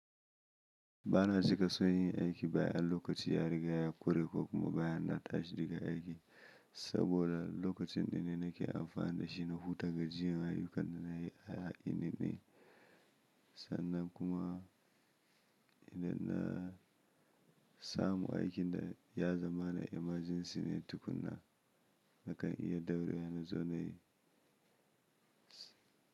Ba na cika son yin aiki bayan lokaci ya riga ya ƙure ko kuma bayan na tashi daga aiki saboda lokacin ɗin ne nake amfani da shi na huta ga jiyan ayyukan da na yi a yini ɗin sannan kuma idan na samu aikin da ya zama na emergency ne tukuna nakan iya daurewa nazo nayi.